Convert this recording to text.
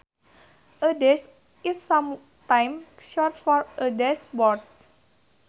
A dash is sometimes short for a dashboard